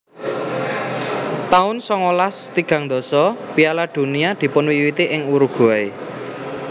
taun songolas tigang dasa Piala Dunia dipunwiwiti ing Uruguay